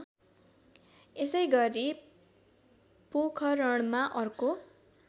यसैगरी पोखरणमा अर्को